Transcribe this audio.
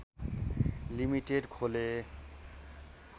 limited खोले